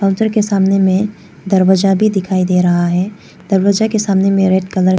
औज़र के सामने में दरवाजा भी दिखाई दे रहा है दरवाजा के सामने रेड कलर --